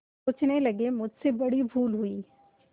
सोचने लगेमुझसे बड़ी भूल हुई